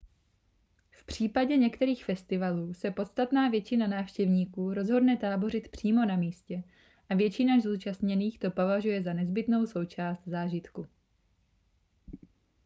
v případě některých festivalů se podstatná většina návštěvníků rozhodne tábořit přímo na místě a většina zúčastněných to považuje za nezbytnou součást zážitku